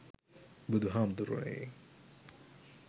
බුදු හාමුදුරුවනේ